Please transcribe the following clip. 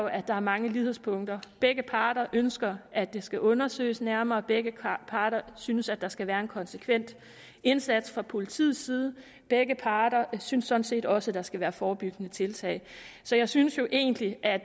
at der er mange lighedspunkter begge parter ønsker at det skal undersøges nærmere og begge parter synes at der skal være en konsekvent indsats fra politiets side begge parter synes sådan set også at der skal være forebyggende tiltag så jeg synes jo egentlig at